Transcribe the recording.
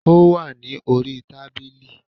Ó wà ní orí i tábìlì